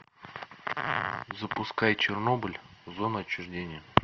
запускай чернобыль зона отчуждения